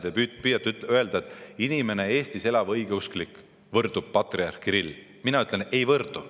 Te püüate öelda, et Eestis elav õigeusklik inimene võrdub patriarh Kirilliga Mina ütlen, et ei võrdu.